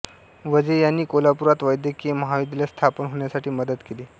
वझे यांनी कोल्हापुरात वैद्यकीय महाविद्यालय स्थापन होण्यासाठी मदत केली